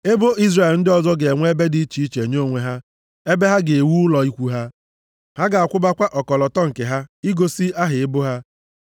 Ebo Izrel ndị ọzọ ga-enwe ebe dị iche nye onwe ha, ebe ha ga-ewu ụlọ ikwu ha. Ha ga-akwụbakwa ọkọlọtọ nke ha, igosi aha ebo ha.